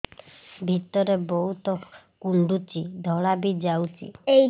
ଭିତରେ ବହୁତ କୁଣ୍ଡୁଚି ଧଳା ବି ଯାଉଛି